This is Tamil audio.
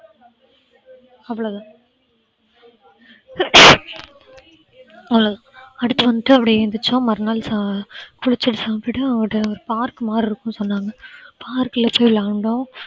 அவ்வளவுதான் அடுத்து வந்துட்டு அப்படியே எந்திரிச்சோம் மறுநாள் குளிச்சு சாப்பிட்டு ஒரு park மாதிரி இருக்குன்னு சொன்னாங்க park ல போயி விளையாண்டோம்